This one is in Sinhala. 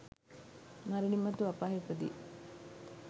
මරණින් මතු අපායෙහි උපදී.